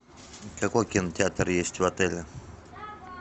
какой кинотеатр есть в отеле